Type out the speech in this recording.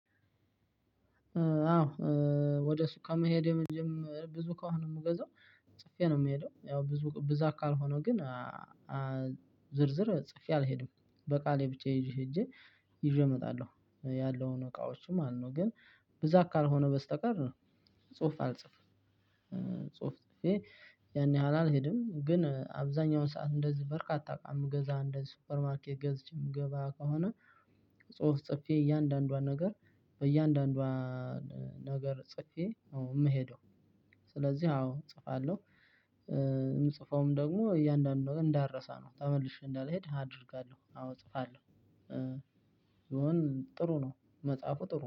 አዎ። ወደ ሱቅ ከመሄድ የመጀመሪያ ብዙ ከሆነ የምገዛው ጽፌ ነው የምሄደው ያው ብዙ ብዛት ካልሆነው ግን ዝርዝር ጽፌ አልሄድም በቃሌ ብቻ ይዤ ሄጄ ይዤ እመጣለሁ ያለውን እቃዎች ማለት ነው። ግን ብዛት ካልሆነ በስተቀር ጽሁፍ አልጽፍም። ጽሁፍ ጽፌ ያን ያህል አልሄድም ግን አብዛኛውን ሰዓት እንደዚህ በርካታ እቃ ምገዛ እንደ ሱፐርማርኬት ገዝቼ የምገባ ከሆነ። ጽፌ እያንዳንዷን ነገር በእያንዳንዷ ነገር ጽፌ አዎ የምሄደው ስለዚህ አዎ እጽፋለሁ። የምጽፈውም ደግሞ እያንዳንዱን እንዳረሳ ነው ተመልሼ እንዳልሄድ አደርጋለሁ። አዎ እጽፋለሁ። ይሆን ጥሩ ነው መጽሐፉ ጥሩ